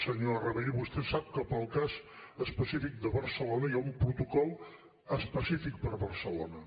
senyor rabell vostè sap que per al cas específic de barcelona hi ha un protocol específic per a barcelona